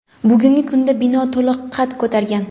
bugungi kunda bino to‘liq qad ko‘targan.